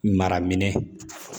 Mara minɛn